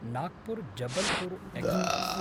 Nagpur Jabalpur express